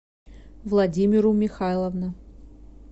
владимиру михайловна